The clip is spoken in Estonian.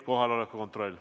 Kohaloleku kontroll.